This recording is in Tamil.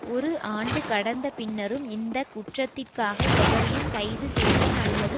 ஒரு ஆண்டு கடந்த பின்னரும் இந்த குற்றத்திற்காக எவரையும் கைதுசெய்ய அல்லது